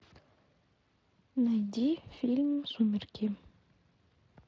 найди фильм сумерки